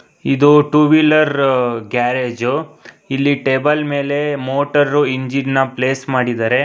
ಇದು two wheeler garage ಇಲ್ಲಿ table ಮೇಲೆ ಮೋಟಾರು ಇಂಜಿನ್ ನ ಪ್ಲೇಸ್ ಮಾಡಿದರೆ.